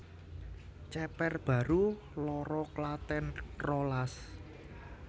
Ceper Baru loro Klaten rolas